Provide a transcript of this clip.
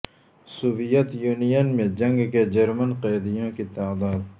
Soviet Union میں جنگ کے جرمن قیدیوں کی تعداد